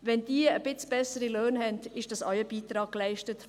Wenn diese ein bisschen bessere Löhne haben, ist auch ein Beitrag geleistet.